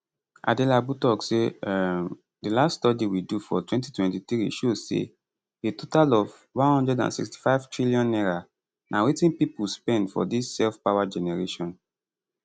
adelabu tok say um di last study we do for 2023 show say a total of n165tn na wetin pipo spend for dis self power generation